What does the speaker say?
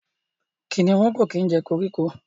kìnìún Ko kí jẹ koríko.